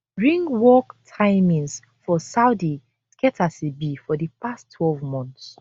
ringwalk timings for saudi get as e be for di past twelve months